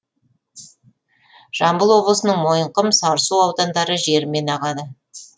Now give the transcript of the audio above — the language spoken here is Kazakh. жамбыл облысының мойынқұм сарысу аудандары жерімен ағады